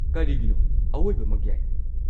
ꯀꯔꯤꯒꯤꯅꯣ, ꯑꯋꯣꯏꯕꯃꯛ ꯌꯥꯏ꯫